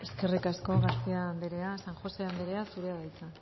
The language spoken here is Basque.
eskerrik asko garcía anderea san josé anderea zurea da hitza